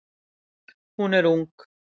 Hún er ung.